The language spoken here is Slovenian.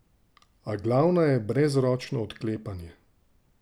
A glavna je brezročno odklepanje.